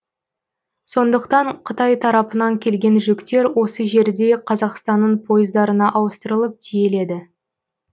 сондықтан қытай тарапынан келген жүктер осы жерде қазақстанның пойыздарына ауыстырылып тиеледі